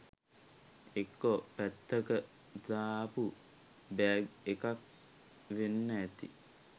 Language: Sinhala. එක්කෝ පැත්තක දාපු බෑග් එකක් වෙන්න ඇති